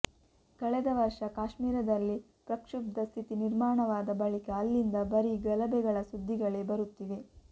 ಕಳೆದ ವರ್ಷ ಕಾಶ್ಮೀರದಲ್ಲಿ ಪ್ರಕ್ಷುಬ್ಧ ಸ್ಥಿತಿ ನಿರ್ಮಾಣವಾದ ಬಳಿಕ ಅಲ್ಲಿಂದ ಬರೀ ಗಲಭೆಗಳ ಸುದ್ದಿಗಳೇ ಬರುತ್ತಿವೆ